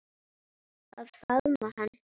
Að faðma hana.